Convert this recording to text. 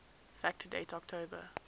fact date october